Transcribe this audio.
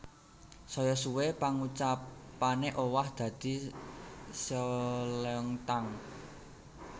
Saya suwe pangucapane owah dadi seolleongtang